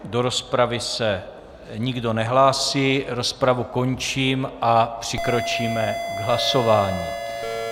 Do rozpravy se nikdo nehlásí, rozpravu končím a přikročíme k hlasování.